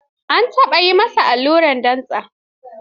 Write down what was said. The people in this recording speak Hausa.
An taɓa yi ma allura a dantse?